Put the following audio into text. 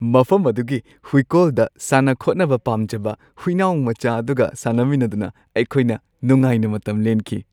ꯃꯐꯝ ꯑꯗꯨꯒꯤ ꯍꯨꯏꯀꯣꯜꯗ ꯁꯥꯟꯅ-ꯈꯣꯠꯅꯕ ꯄꯥꯝꯖꯕ ꯍꯨꯏꯅꯥꯎ ꯃꯆꯥ ꯑꯗꯨꯒ ꯁꯥꯟꯅꯃꯤꯟꯅꯗꯨꯅ ꯑꯩꯈꯣꯏꯅ ꯅꯨꯡꯉꯥꯏꯅ ꯃꯇꯝ ꯂꯦꯟꯈꯤ ꯫